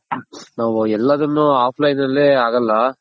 ನಾವ್ ಎಲ್ಲದುನು offline ನಲ್ಲೇ ಆಗಲ್ಲ.